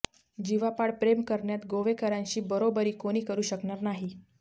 जीवापाड प्रेम करण्यात गोवेकरांशी बरोबरी कुणी करू शकणार नाही